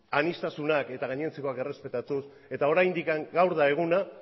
aniztasunak eta gainontzekoak errespetatuz eta oraindik gaur da eguna